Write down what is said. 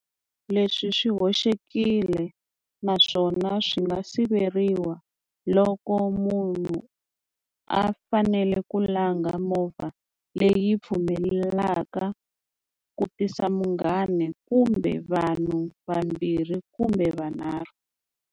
Leswi swi hoxekile naswona swi nga siveriwa loko munhu a fanele ku langa movha leyi pfumelelaka ku tisa munghana kumbe vanhu vambirhi kumbe vanarhu.